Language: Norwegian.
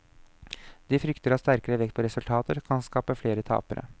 De frykter at sterkere vekt på resultater kan skape flere tapere.